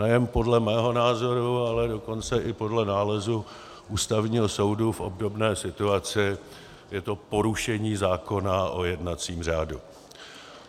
Nejen podle mého názoru, ale dokonce i podle nálezu Ústavního soudu v obdobné situaci je to porušení zákona o jednacím řádu.